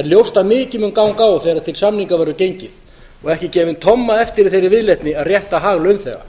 er ljóst að mikið mun ganga á þegar til samninga verður gengið og ekki gefin tomma eftir í þeirri viðleitni að rétta hag launþega